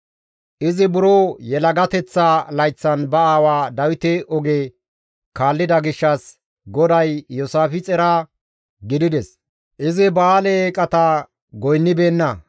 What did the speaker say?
Izi buro yelagateththa layththan ba aawa Dawite oge kaallida gishshas GODAY Iyoosaafixera gidides; izi ba7aale eeqata goynnibeenna.